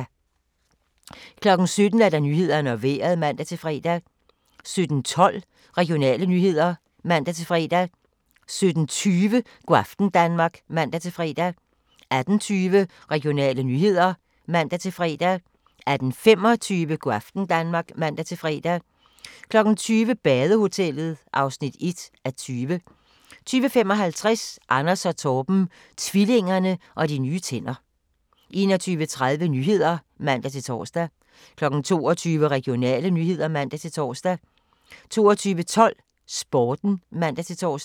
17:00: Nyhederne og Vejret (man-fre) 17:12: Regionale nyheder (man-fre) 17:20: Go' aften Danmark (man-fre) 18:20: Regionale nyheder (man-fre) 18:25: Go' aften Danmark (man-fre) 20:00: Badehotellet (1:20) 20:55: Anders & Torben - tvillingerne og de nye tænder 21:30: Nyhederne (man-tor) 22:00: Regionale nyheder (man-tor) 22:12: Sporten (man-tor)